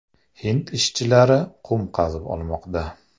Hind ishchilari qum qazib olmoqda.